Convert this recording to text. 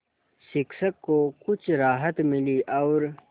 शिक्षक को कुछ राहत मिली और